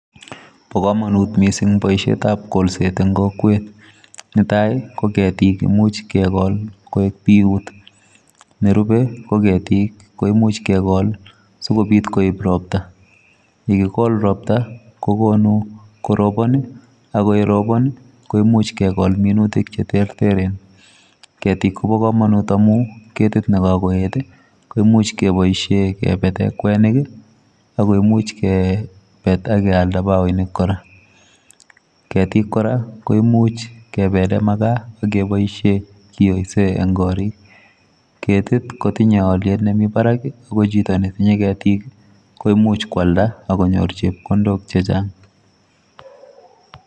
Bo kamanut missing boisiet ab kolset eng kokwet netai ii ,ko ketiik imuuch kegol koek biyuut nerupei ko ketiik imuuch kegol sikobiit roptaa ,yekigol roptaa kokonuu koropaan ii ak ye robaan ii koimuuch kegol minutiik che terter ketiik kobaa kamanut amuun ketiik kimuich kebaisheen kebeten kwenik ii akomuuch kebet ak keyaldaa bakoinik kora ,ketiik kora koimuuch kebeleen makaa ak kebaisheen kiyoiseen en koriik, ketiik ij kotinyei aliet nemii Barak en chitoo ne tinyei ketiik koimuuch koyaldaa ak konyoor chepkondook chechaang.